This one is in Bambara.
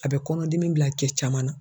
A bɛ kɔnɔdimi bila cɛ caman na.